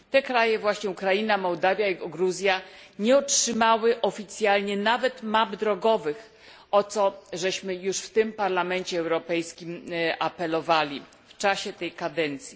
Te kraje właśnie Ukraina, Mołdawia i Gruzja nie otrzymały oficjalnie nawet map drogowych, o co już w tym Parlamencie Europejskim apelowaliśmy w czasie tej kadencji.